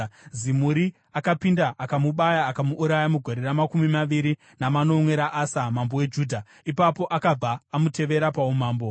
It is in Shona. Zimuri akapinda, akamubaya akamuuraya, mugore ramakumi maviri namanomwe raAsa, mambo weJudha. Ipapo akabva amutevera paumambo.